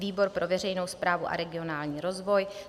Výbor pro veřejnou správu a regionální rozvoj: